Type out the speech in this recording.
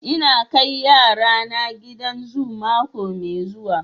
Ina kai yarana gidan zu mako mai zuwa.